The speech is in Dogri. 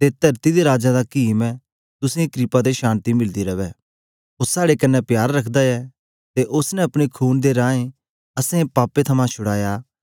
ते तरती दे राजां दा कीम ऐ तुसें क्रपा ते शान्ति मिलदी रवै ओ साड़े कन्ने प्यार रखदा ऐ ते उस्स ने अपने खून दे रहें असैं पापें थमां छुड़ाया ऐ